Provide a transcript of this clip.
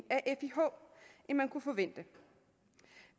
end man kunne forvente